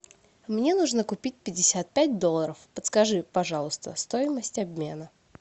мне нужно купить пятьдесят пять долларов подскажи пожалуйста стоимость обмена